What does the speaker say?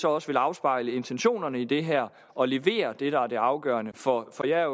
også afspejle intentionerne i det her og levere det der er det afgørende for for jeg er